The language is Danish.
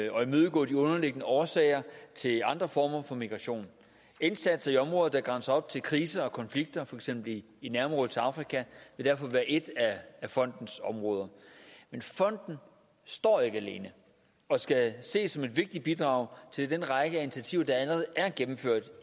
og imødegå de underliggende årsager til andre former for migration indsatser i områder der grænser op til kriser og konflikter for eksempel i nærområdet til afrika vil derfor være et af fondens områder men fonden står ikke alene og skal ses som et vigtigt bidrag til den række af initiativer der allerede er gennemført